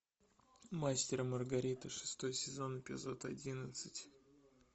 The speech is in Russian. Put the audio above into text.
мастер и маргарита шестой сезон эпизод одиннадцать